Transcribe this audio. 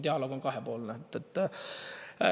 Dialoog on kahepoolne.